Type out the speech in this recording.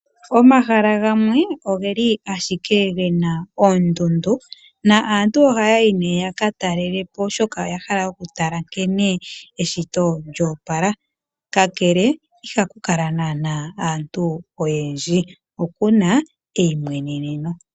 Oomahala gamwe ogeli ashike gena ondundu. Aantu ohaya yi nee ya katalele po oshoka oya hala okutala nkene eshito lyo opala . Kakele ihaku kala nana aantu oyendji okuna eyimweneneno.